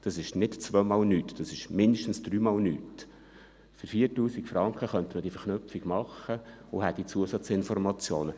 das ist nicht zweimal nichts, das ist mindestens dreimal nichts –, für 4000 Franken könnte man diese Verknüpfung machen und hätte Zusatzinformationen.